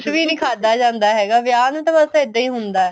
ਕੁੱਛ ਵੀ ਨਹੀਂ ਖਾਦਾ ਜਾਂਦਾ ਹੈਗਾ ਵਿਆਹ ਨੂੰ ਤਾਂ ਬੱਸ ਇਹਦਾ ਹੀ ਹੁੰਦਾ ਹੈ